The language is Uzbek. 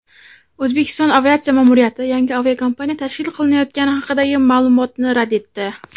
O‘zbekiston aviatsiya ma’muriyati yangi aviakompaniya tashkil qilinayotgani haqidagi ma’lumotni rad etdi.